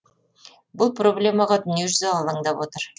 бұл проблемаға дүниежүзі алаңдап отыр